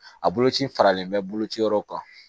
A boloci faralen bɛ bolo ciyɔrɔ kan